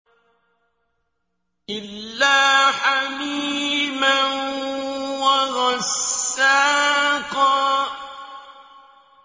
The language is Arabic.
إِلَّا حَمِيمًا وَغَسَّاقًا